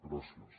gràcies